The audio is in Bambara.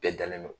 Bɛɛ dalen don